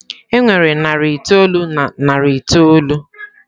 E nwere narị itoolu na narị itoolu.